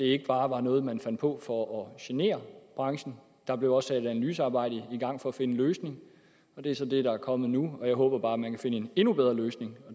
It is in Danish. ikke bare noget man fandt på for at genere branchen der blev også analysearbejde i gang for at finde en løsning og det er så det der er kommet nu og jeg håber bare at man kan finde en endnu bedre løsning